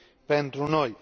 pentru noi.